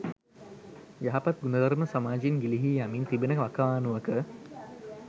යහපත් ගුණධර්ම සමාජයෙන් ගිලිහී යමින් තිබෙන වකවානුවක